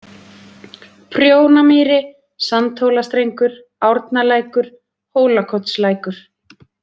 Prjónamýri, Sandhólastrengur, Árnalækur, Hólakotslækur